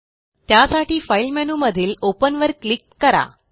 त्यासाठी file menu मधील open वर क्लिक करा